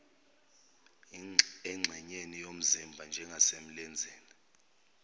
engxenyeni yomzimba njengasemlenzeni